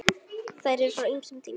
Þær eru frá ýmsum tímum.